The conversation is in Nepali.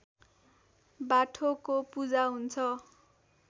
बाठोको पूजा हुन्छ